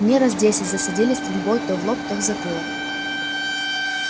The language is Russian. мне раз десять засадили стрелой то в лоб то в затылок